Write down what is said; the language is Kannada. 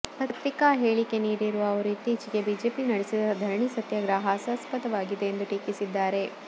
ಪತ್ರಿಕಾ ಹೇಳಿಕೆ ನೀಡಿರುವ ಅವರು ಇತ್ತೀಚೆಗೆ ಬಿಜೆಪಿ ನಡೆಸಿದ ಧರಣಿ ಸತ್ಯಾಗ್ರಹ ಹಾಸ್ಯಾಸ್ಪದವಾಗಿದೆ ಎಂದು ಟೀಕಿಸಿದ್ದಾರೆ